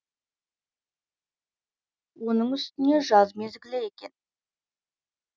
оның үстіне жаз мезгілі екен